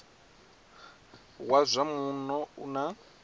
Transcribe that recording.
wa zwa muno u na